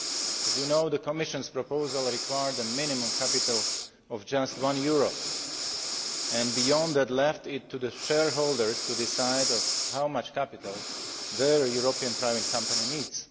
As you know, the Commission's proposal required a minimum capital of just EUR 1, and beyond that left it to the shareholders to decide on how much capital their European private company